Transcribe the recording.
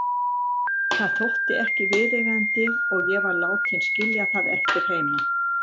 Það þótti ekki viðeigandi og ég var látin skilja það eftir heima.